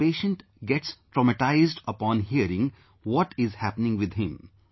Because the patient gets traumatized upon hearing what is happening with him